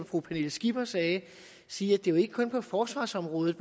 fru pernille skipper sagde sige at det jo ikke kun er på forsvarsområdet